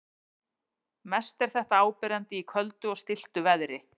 Mest er þetta áberandi í köldu og stilltu veðri.